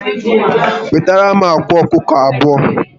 Wetaram akwa ọkụkọ abụọ